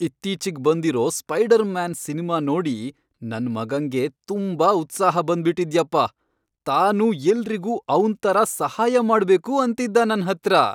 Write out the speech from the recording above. ಇತ್ತೀಚಿಗ್ ಬಂದಿರೋ Spider Man cinema ನೋಡಿ ನನ್ ಮಗಂಗೆ ತುಂಬಾ ಉತ್ಸಾಹ ಬಂದ್ಬಿಟಿದ್ಯಪ್ಪ.. ತಾನೂ ಎಲ್ರಿಗೂ ಅವ್ನ್ ಥರ ಸಹಾಯ ಮಾಡ್ಬೇಕು ಅಂತಿದ್ದ ನನ್ಹತ್ರ.